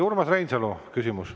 Urmas Reinsalu, küsimus.